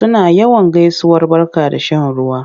Suna yawan gaisuwar barka da shan ruwa.